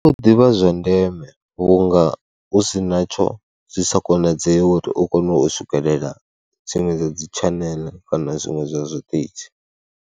U ḓivha zwa ndeme vhunga hu si natsho zwi sa konadzei uri u kone u swikelela dziṅwe dza dzi tshaneḽe kana zwiṅwe zwa zwiṱitshi.